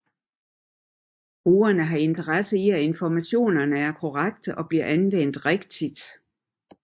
Brugeren har interesse i at informationerne er korrekte og bliver anvendt rigtigt